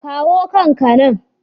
Kawo kan ka nan!